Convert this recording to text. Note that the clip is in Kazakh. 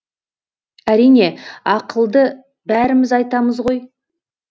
әрине ақылды бәріміз айтамыз ғой